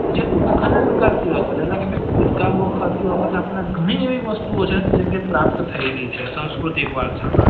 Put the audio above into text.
જ ખોદકામ કરતી વખતે એવી ગણી વસ્તુ ઓ છે આપણને પ્રાપ્ત થએલી છે સાંસ્કૃતિક વારસા માં